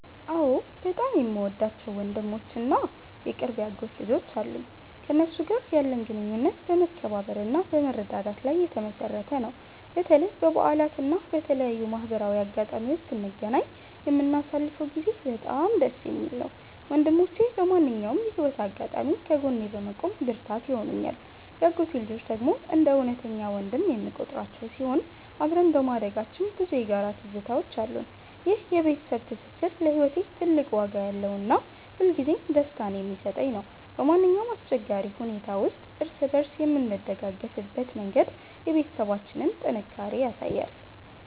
አዎ፣ በጣም የምወዳቸው ወንድሞች እና የቅርብ የአጎት ልጆች አሉኝ። ከእነሱ ጋር ያለን ግንኙነት በመከባበርና በመረዳዳት ላይ የተመሠረተ ነው። በተለይ በበዓላት እና በተለያዩ ማህበራዊ አጋጣሚዎች ስንገናኝ የምናሳልፈው ጊዜ በጣም ደስ የሚል ነው። ወንድሞቼ በማንኛውም የህይወት አጋጣሚ ከጎኔ በመቆም ብርታት ይሆኑኛል። የአጎቴ ልጆች ደግሞ እንደ እውነተኛ ወንድም የምቆጥራቸው ሲሆን፣ አብረን በማደጋችን ብዙ የጋራ ትዝታዎች አሉን። ይህ የቤተሰብ ትስስር ለህይወቴ ትልቅ ዋጋ ያለውና ሁልጊዜም ደስታን የሚሰጠኝ ነው። በማንኛውም አስቸጋሪ ሁኔታ ውስጥ እርስ በእርስ የምንደጋገፍበት መንገድ የቤተሰባችንን ጥንካሬ ያሳያል።